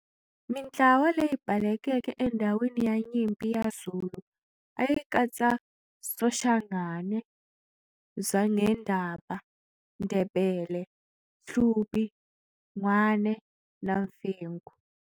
Mintlawa leyi balekeke endhawini ya nyimpi ya Zulu a yi katsa Soshangane, Zwangendaba, Ndebele, Hlubi, Ngwane na Mfengu.